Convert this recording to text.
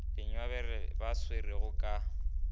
le nyabele ba swerwego ka